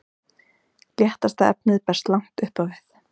léttasta efnið berst langt upp á við